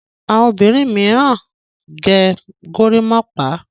àwọn obìrin míràn gẹ̀ gorimopa.